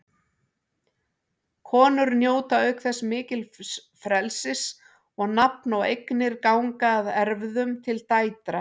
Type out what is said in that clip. Konur njóta auk þess mikils frelsis og nafn og eignir ganga að erfðum til dætra.